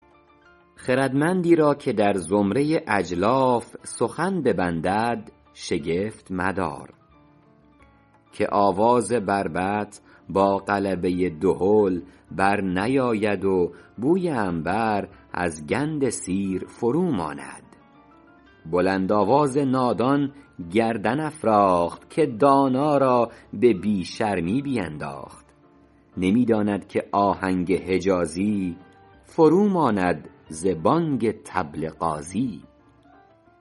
خردمندی را که در زمره اجلاف سخن ببندد شگفت مدار که آواز بربط با غلبه دهل بر نیاید و بوی عنبر از گند سیر فرو ماند بلند آواز نادان گردن افراخت که دانا را به بی شرمی بینداخت نمی داند که آهنگ حجازی فرو ماند ز بانگ طبل غازی